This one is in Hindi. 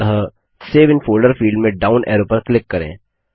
अतः सेव इन फोल्डर फील्ड में डाउन ऐरो पर क्लिक करें